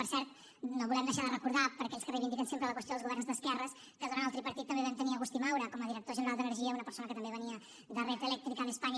per cert no volem deixar de recordar per a aquells que reivindiquen sempre la qüestió dels governs d’esquerres que durant el tripartit també vam tenir agustí maura com a director general d’energia una persona que també venia de red eléctrica de españa